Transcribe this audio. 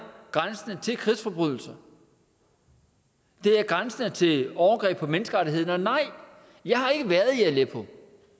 grænsende til krigsforbrydelser det er grænsende til overgreb på menneskerettighederne og nej jeg har ikke været i aleppo